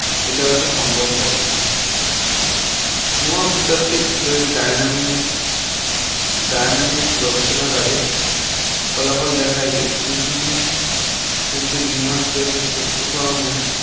এটা হয়তো সম্ভব হবে Noah বোতাত্ত্বিক Dynamic Dynamics গবেষণাগারে কারণে ফলাফল দেখায় যে কুড়ি কিমি অতি Green House Gas এর সহ্য করনে